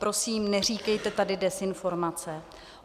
Prosím, neříkejte tady dezinformace.